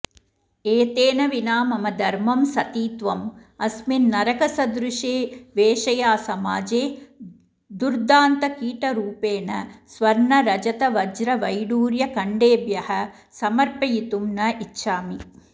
एतेन विना मम धर्मं सतीत्वम् अस्मिन् नरकसदृशे वेश्यासमाजे दुर्दान्तकीटरूपेण स्वर्णरजतवज्रवैढूर्यखण्डेभ्यः समर्पयितुं न इच्छामि